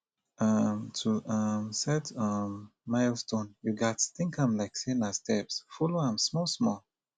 um to um set um milestone you gats think am like sey na steps follow am small small